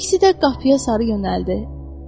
İkisi də qapıya sarı yönəldi.